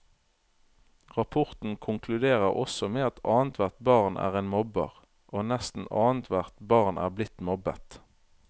Rapporten konkluderer også med at annethvert barn er en mobber, og nesten annethvert barn er blitt mobbet.